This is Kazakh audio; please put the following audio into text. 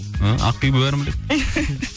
і ақбибі бәрін біледі